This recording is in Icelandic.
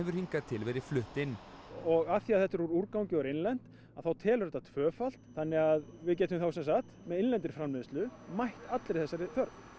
hingað til verið flutt inn og af því að þetta er úr úrgangi og er innlent þá telur þetta tvöfalt þannig að við gætum þá sem sagt með innlendri framleiðslu mætt allri þessari þörf